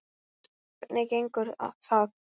Hvernig gengur það?